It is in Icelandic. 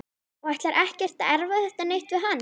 Og ætlar ekkert að erfa þetta neitt við hann.